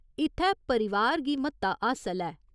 इत्थै परिवार गी म्हत्ता हासल ऐ।